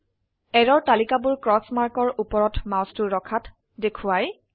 error তালিকাবোৰ cross markৰ ওপৰত মাউচটো ৰখাত দেখোৱাই